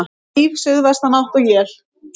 Stíf suðvestanátt og él